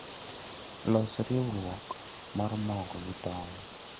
Los riuruot mar mogo gi tong